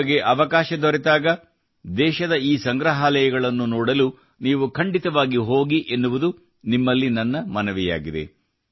ನಿಮಗೆ ಅವಕಾಶ ದೊರೆತಾಗ ದೇಶದ ಈ ಸಂಗ್ರಹಾಲಯಗಳನ್ನು ನೋಡಲು ನೀವು ಖಂಡಿತವಾಗಿಯೂ ಹೋಗಿ ಎನ್ನುವುದು ನಿಮ್ಮಲ್ಲಿ ನನ್ನ ಮನವಿಯಾಗಿದೆ